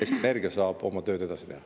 Eesti Energia saab oma tööd edasi teha.